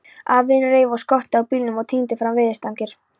Afinn reif upp skottið á bílnum og tíndi fram veiðistangir.